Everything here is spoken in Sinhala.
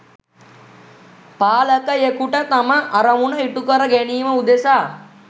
පාලකයෙකුට තම අරමුණු ඉටුකර ගැනීම උදෙසා